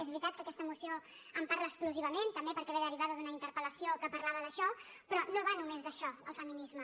és veritat que aquesta moció en parla exclusivament també perquè ve derivada d’una interpel·lació que parlava d’això però no va només d’això el feminisme